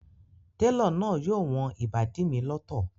Télọ̀ náà yóò wọn ìbàdí mi lọ́tọ̀